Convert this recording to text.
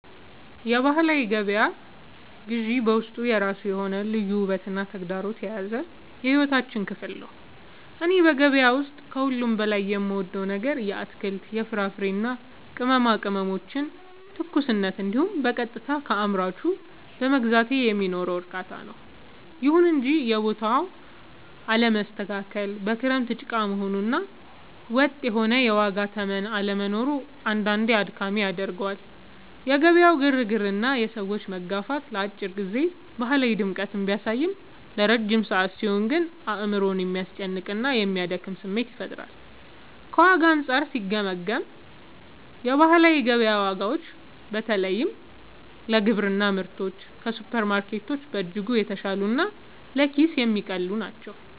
የባህላዊ ገበያ ግዢ በውስጡ የራሱ የሆነ ልዩ ውበትና ተግዳሮት የያዘ የሕይወታችን ክፍል ነው። እኔ በገበያ ውስጥ ከሁሉ በላይ የምወደው ነገር የአትክልት፣ የፍራፍሬና የቅመማ ቅመሞችን ትኩስነት እንዲሁም በቀጥታ ከአምራቹ በመግዛቴ የሚኖረውን እርካታ ነው። ይሁን እንጂ የቦታው አለመስተካከል፣ በክረምት ጭቃ መሆኑ እና ወጥ የሆነ የዋጋ ተመን አለመኖሩ አንዳንዴ አድካሚ ያደርገዋል። የገበያው ግርግርና የሰዎች መጋፋት ለአጭር ጊዜ ባህላዊ ድምቀትን ቢያሳይም፣ ለረጅም ሰዓት ሲሆን ግን አእምሮን የሚያስጨንቅና የሚያደክም ስሜት ይፈጥራል። ከዋጋ አንጻር ሲገመገም፣ የባህላዊ ገበያ ዋጋዎች በተለይ ለግብርና ምርቶች ከሱፐርማርኬቶች በእጅጉ የተሻሉና ለኪስ የሚቀልሉ ናቸው።